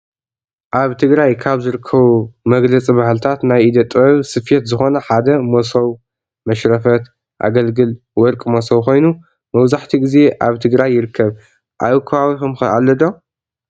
አብ ትግራይ ካብ ዝርከቡ መግለፅ ባህልታት ናይ ኢደ ጥበብ ስፌት ዝኮነ ሓደ ሞስብ መሽረፋት፣ አገልግል፣ ወርቂ ሞሶብ ኮይኑ መብዛሕቲኡ ግዜ አብ ትግራይ ይርከብ። አብ ከባቢኩም ከ አሎ ዶ?